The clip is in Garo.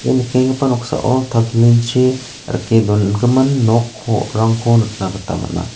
ia nikenggipa noksao tarplin chi rike dongimin nokko rangko nikna gita man·a.